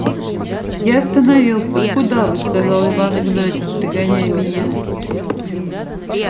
я остановился куда вы сказал иван игнатьич догоняя меня